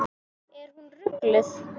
Er hún rugluð?